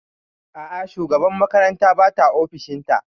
A'a, shugabar makarantar bata ofishin ta